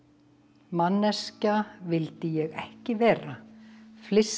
manneskja vildi ég ekki vera flissandi